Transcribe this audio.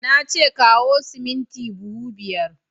Na ce kawo siminti buhu biyar!